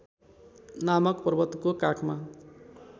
नामक पर्वतको काखमा